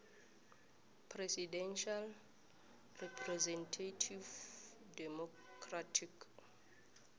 presidential representative democratic